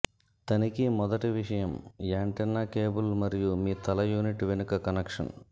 తనిఖీ మొదటి విషయం యాంటెన్నా కేబుల్ మరియు మీ తల యూనిట్ వెనుక కనెక్షన్